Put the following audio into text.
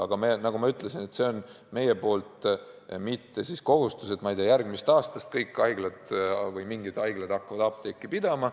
Aga nagu ma ütlesin, see pole meie ettekujutuse kohaselt mitte kohustus, et, ma ei tea, järgmisest aastast kõik haiglad või mingid haiglad peavad hakkama apteeki pidama.